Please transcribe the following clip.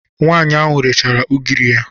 Nwaanyị ahụ rechara ugiri ya.